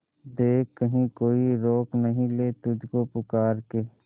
देख कहीं कोई रोक नहीं ले तुझको पुकार के